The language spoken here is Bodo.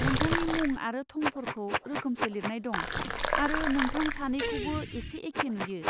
नोंथांनि मुं आरो थंफोरखौ रोखोमसे लिरनाय दं, आरो नोंथां सानैखौबो एसे एखे नुयो।